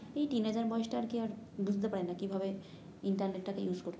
এই বয়সটা আর কি আর বুঝতে পারে না কিভাবে ইন্টারনেট টাকে ইউস করতে হবে